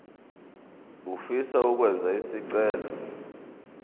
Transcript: ofisa ukwenza isicelo